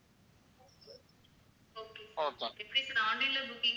okay sir எப்படி sir online ல booking ஆ